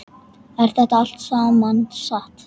Er þetta allt saman satt?